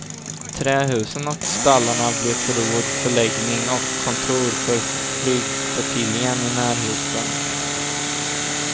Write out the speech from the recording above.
Trähusen och stallarna blev förråd, förläggning och kontor för flygflottiljen i närheten.